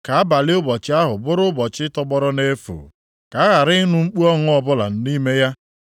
Ka abalị ụbọchị ahụ bụrụ ụbọchị tọgbọrọ nʼefu, ka a ghara ịnụ mkpu ọṅụ ọbụla nʼime ya.